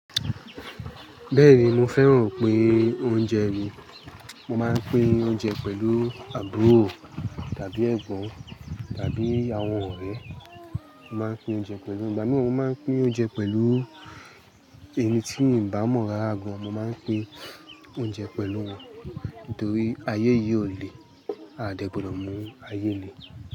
Bẹ́ẹ̀ni mo fẹ́ràn pé oúnjẹ mi. Mo máa ń pín oúnjẹ pẹ̀lú àbúrò tàbí Ẹ̀gbọ́n tàbí àwọn ọ̀rẹ́. Mo máa ń pín oúnjẹ pẹ̀lú ìgbámíì, mo máa ń pín oúnjẹ pẹ̀lú ẹni tí mì bá mọ rara gan. Mo máa ń pín oúnjẹ pẹ̀lú wọn nitorí ayé yìí ò le aà dẹ gbọdọ̀ mú ayé le.